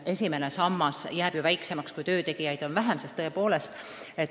Esimene sammas jääb ju väiksemaks, kui töötegijaid on vähem.